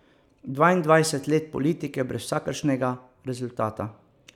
Dvaindvajset let politike brez vsakršnega rezultata.